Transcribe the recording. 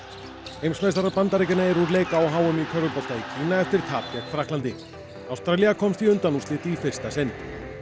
heimsmeistarar Bandaríkjanna eru úr leik á h m í körfubolta í Kína eftir tap gegn Frakklandi Ástralía komst í undanúrslit í fyrsta sinn